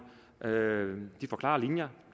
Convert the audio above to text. de får klare linjer